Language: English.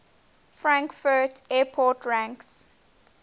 frankfurt airport ranks